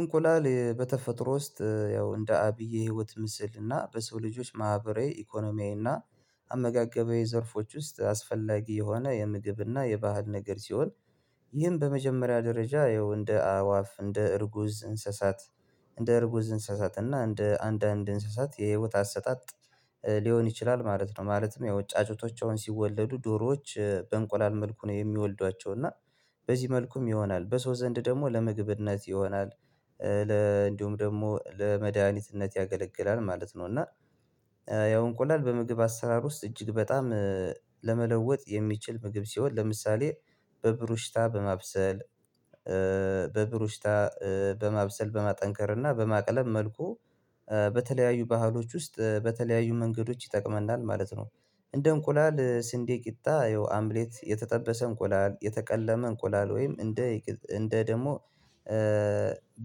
እንቁላል በተፈጥሮ ውስጥ ያው እንደ አብይ የህይወት ምስል እና በሰው ልጆች ማህበራዊ ኢኮኖሚያዊና አመጋገባዊ ዘርፎች ውስጥ አስፈላጊ የሆነ የምግብና የባህል ነገር ሲሆን ይህን በመጀመሪያ ደረጃ ይኸው እንደ አእዋፍ፣ እንደ እርጉዝ፣ እንስሳት እንደ እርጉዝ እንስሳት እና እንደ አንድ አንድ እንስሳት የህይወት አሰጣጥ ሊሆን ይችላል ማለት ነው። ማለትም ያው ጫጩቶቻቸውን ሲወለዱ ዶሮዎች በእንቁላል መልኩ ነው የሚወልዷቸው እና በዚህ መልኩም ይሆናል በሰው ዘንድ ደግሞ ለምግብ እነዚህ ይሆናል ለ እንዲሁም ደግሞ ለመድሃኒት እነዚህ ያገለግላል ማለት ነው። እና ኧ ያው እንቁላል በምግብ አሰራር ውስጥ እጅግ በጣም ለመለወጥ የሚችል ምግብ ሲሆን ለምሳሌ በብሩሽታ በማብሰል በብሩሽታ በማብሰል በማጠንከር እና በማቅለብ መልኩ በተለያዩ ባህሎች ውስጥ በተለያዩ መንገዶች ይጠቅመናል ማለት ነው። እንደ እንቁላል ስንዴ ቂጣ ይኸው አምሌት የተጠበሰ እንቁላል፣ የተቀለመ እንቁላል፣ ወይም እንደ እንደ ደግሞ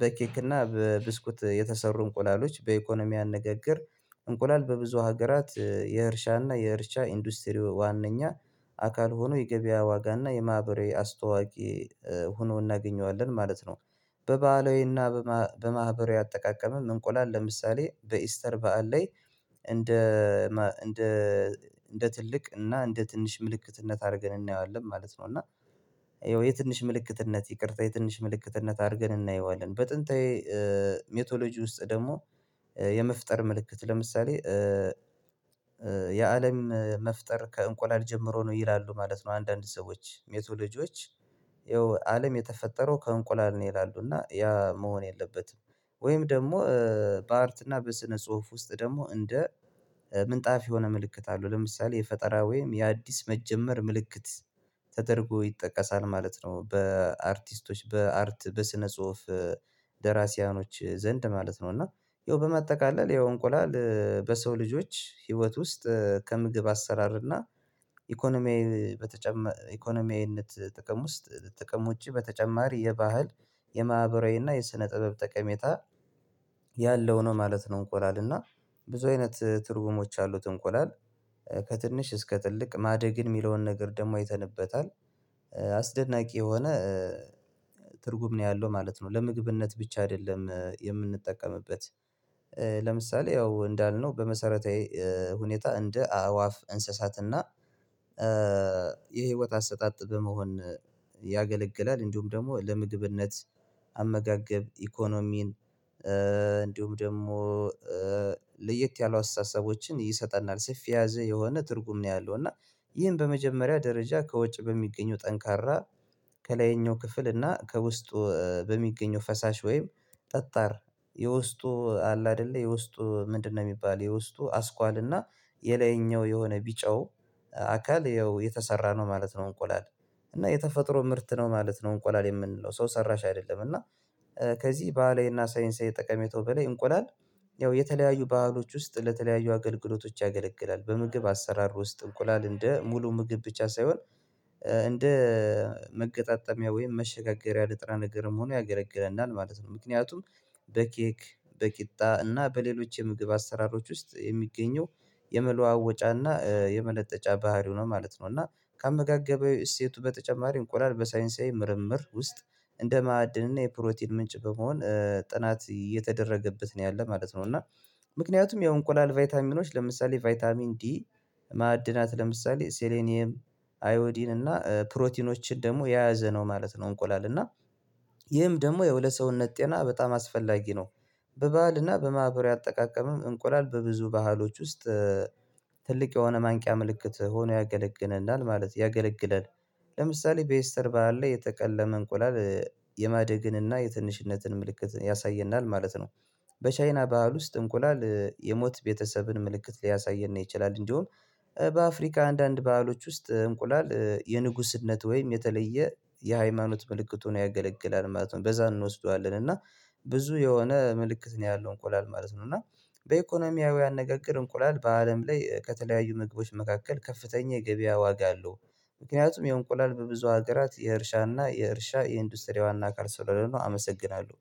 በኬክ እና በብስኩት የተሰሩ እንቁላሎች በኢኮኖሚያን ንግግር እንቁላል በብዙ ሀገራት የእርሻና የእርሻ ኢንዱስትሪ ዋናኛ አካል ሆኖ የገበያ ዋጋና የማህበራዊ አስተዋቂ ሆኖ እናገኘዋለን ማለት ነው በባህላዊና በማህበራዊ አጠቃቀምም እንቁላል ለምሳሌ በኢስተር በዓል ላይ እንደ እንደ እንደ ትልቅ እና እንደ ትንሽ ምልክትነት አድርገን እናየዋለን ማለት ነው እና ይኸው የትንሽ ምልክትነት ይቅርታ የትንሽ ምልክትነት አድርገን እናየዋለን። በጥንታዊ ሜቶሎጂ ውስጥ ደግሞ የመፍጠር ምልክት ለምሳሌ የአለም መፍጠር ከእንቁላል ጀምሮ ነው ይላሉ ማለት ነው አንዳንድ ሰዎች ሜቶሎጂዎች። ያው አለም የተፈጠረው ከእንቁላል ነው ይላሉ እና ያ መሆን የለበትም ወይም ደግሞ በአርትና በስነ ጽሁፍ ውስጥ ደግሞ እንደ ምንጣፍ የሆነ ምልክት አለው። ለምሳሌ የፈጠራ ወይም የአዲስ መጀመር ምልክት ተደርጎ ይጠቀሳል ማለት ነው። በአርቲስቶች በአርት በስነ ጽሁፍ ደራሲያኖች ዘንድ ማለት ነው። እና ያው በመጠቃለል ያው እንቁላል በሰው ልጆች ህይወት ውስጥ ከምግብ አሰራር እና ኢኮኖሚያዊ በተጨማ ኢኮኖሚያዊነት ጥቅም ውስጥ ጥቅም ውጪ በተጨማሪ የባህል የማህበራዊና የስነ ጥበብ ጠቀሜታ ያለው ነው ማለት ነው። እንቁላል እና ብዙ አይነት ትርጉሞች አሉት እንቁላል ከትንሽ እስከ ትልቅ ማደግን የሚለውን ነገር ደግሞ አይተንበታል አስደናቂ የሆነ ትርጉም ነው ያለው ማለት ነው። ለምግብነት ብቻ አይደለም የምንጠቀምበት ለምሳሌ ያው እንዳልነው በመሰረታዊ ሁኔታ እንደ አዕዋፍ፣ እንስሳትና የህይወት አሰጣጥ በመሆን ያገለግላል። እንዲሁም ደግሞ ለምግብነት አመጋገብ ኢኮኖሚን እንዲሁም ደግሞ ኧ ለየት ያሉ አስተሳሰቦችን ይሰጠናል ሰፊ ያዘ የሆነ ትርጉም ነው ያለው እና ይህን በመጀመሪያ ደረጃ ከወጪ በሚገኘው ጠንካራ ከላይኛው ክፍል እና ከውስጡ በሚገኘው ፈሳሽ ወይም ጠጣር የውስጡ አለ አይደለ የውስጡ ምንድነው የሚባል የውስጡ አስኳል እና የላይኛው የሆነ ቢጫው አካል ያው የተሰራ ነው ማለት ነው እንቁላል እና የተፈጥሮ ምርት ነው ማለት ነው እንቁላል የምንለው ሰው ሰራሽ አይደለም እና ከዚህ ባህላዊ እና ሳይንሳዊ ጠቀሜታው በላይ እንቁላል ያው የተለያዩ ባህሎች ውስጥ ለተለያዩ አገልግሎቶች ያገለግላል። በምግብ አሰራር ውስጥ እንቁላል እንደ ሙሉ ምግብ ብቻ ሳይሆን እንደ መገጣጠሚያ ወይም መሸጋገሪያ ንጥረ ነገርም ሆኖ ያገለግለናል ማለት ነው ምክንያቱም በኬክ፣ በቂጣ እና በሌሎች የምግብ አሰራሮች ውስጥ የሚገኘው የመለዋወጫና የመለጠጫ ባህሪው ነው ማለት ነው። እና ከአመጋገበው እሴቱ በተጨማሪ እንቁላል በሳይንሳዊ ምርምር ውስጥ እንደ ማዕድን እና የፕሮቲን ምንጭ በመሆን ጥናት እየተደረገበት ነው ያለህ ማለት ነው እና ምክንያቱም የእንቁላል ቫይታሚኖች ለምሳሌ ቫይታሚን ዲ ማዕድናት ለምሳሌ ሴሌኒየም አዮዲን እና ፕሮቲኖችን ደግሞ የያዘ ነው ማለት ነው እንቁላል እና ይህም ደግሞ ያው ለሰውነት ጤና በጣም አስፈላጊ ነው። በባህልና በማህበራዊ አጠቃቀምም እንቁላል በብዙ ባህሎች ውስጥ ትልቅ የሆነ ማንቂያ ምልክት ሆኖ ያገለግለናል ማለት ያገለግላል። ለምሳሌ በኤስተር በዓል ላይ የተቀለመ እንቁላል የማደግንና የትንሽነትን ምልክት ያሳየናል ማለት ነው። በቻይና በዓል ውስጥ እንቁላል የሞት ቤተሰብን ምልክት ሊያሳይን ነው ይችላል እንዲሆን በአፍሪካ አንዳንድ በዓሎች ውስጥ እንቁላል የንጉስነት ወይም የተለየ የሃይማኖት ምልክት ሆኖ ያገለግላል ማለት ነው። በዛ እንወስደዋለን እና ብዙ የሆነ ምልክት ነው ያለው እንቆላል ማለት ነው እና በኢኮኖሚያዊ አነጋግር እንቁላል በአለም ላይ ከተለያዩ ምግቦች መካከል ከፍተኛ ገበያ ዋጋ አለው ምክንያቱም የእንቁላል በብዙ ሀገራት የእርሻና የእርሻ የኢንዱስትሪ ዋና አካል ስለሆነ ነው አመሰግናለሁ።